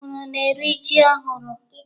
Unu na-eri ji ọhụrụ?